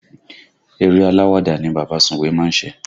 Eré aláwàdà ni bàbá sùwé má ń ṣe